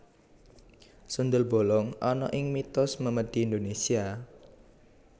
Sundel bolong ana ing mitos memedi Indonesia